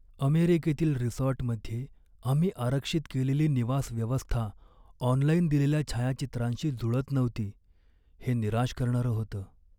अमेरिकेतील रिसॉर्टमध्ये आम्ही आरक्षित केलेली निवास व्यवस्था ऑनलाइन दिलेल्या छायाचित्रांशी जुळत नव्हती हे निराश करणारं होतं.